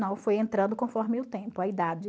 Não, foi entrando conforme o tempo, a idade.